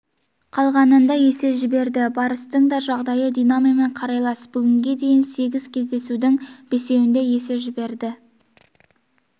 қалғанында есе жіберді барыстың да жағдайы динамомен қарайлас бүгінге дейін сегіз кездесудің бесеуінде есе жіберді